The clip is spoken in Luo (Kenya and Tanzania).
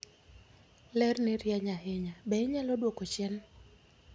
Lerni rieny ahinya. Be inyalo dwoko chien?